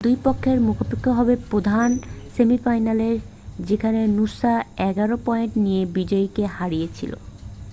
2 পক্ষের মুখোমুখি হবে প্রধান সেমিফাইনালে যেখানে নূসা 11 পয়েন্ট নিয়ে বিজয়ীকে হারিয়েছিল